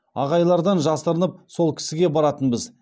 ағайлардан жасырынып сол кісіге баратынбыз